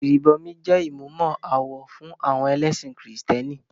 Ìrìbọmi jẹ́ ìmúmọ-awọ fún àwọn ẹlẹ́sìn kìrìtẹ́nì.